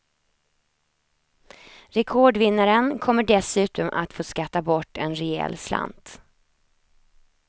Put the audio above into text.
Rekordvinnaren kommer dessutom att få skatta bort en rejäl slant.